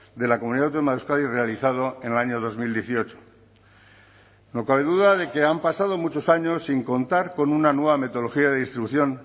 de la comunidad autónoma de euskadi realizado en el año dos mil dieciocho no cabe duda de que han pasado muchos años sin contar con una nueva metodología de distribución